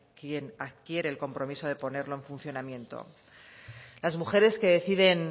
quien adquiere el compromiso de ponerlo en funcionamiento las mujeres que deciden